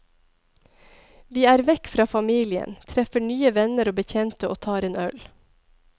Vi er vekk fra familien, treffer nye venner og bekjente og tar en øl.